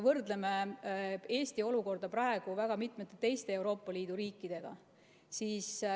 Võrdleme Eesti olukorda väga mitme teise Euroopa Liidu riigi olukorraga.